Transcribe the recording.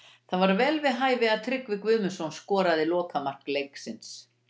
Það var vel við hæfi að Tryggvi Guðmundsson skoraði lokamark leiksins.